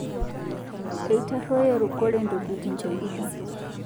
Eitaroye rukore ntokitin telduka